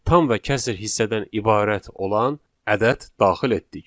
Tam və kəsr hissədən ibarət olan ədəd daxil etdik.